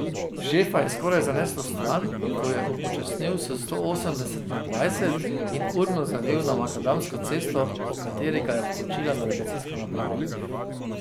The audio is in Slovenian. Šefa je skoraj zaneslo vstran, ko je upočasnil s sto osemdeset na dvajset in urno zavil na makadamsko cesto, o kateri ga je poučila navigacijska naprava.